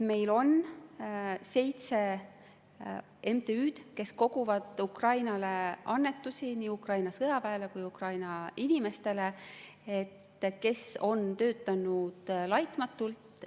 Meil on seitse MTÜ‑d, kes koguvad Ukrainale annetusi – nii Ukraina sõjaväele kui ka Ukraina inimestele –, kes on töötanud laitmatult.